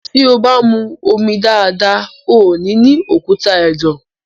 tí o bá mú omi dáadáa, o nì ní òkúta ẹ̀dọ̀.